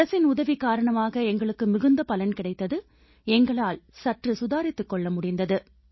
அரசின் உதவி காரணமாக எங்களுக்கு மிகுந்த பலன் கிடைத்தது எங்களால் சற்று சுதாரித்துக் கொள்ள முடிந்தது